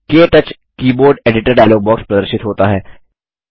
क्टच keyboard editor dialog box प्रदर्शित होता है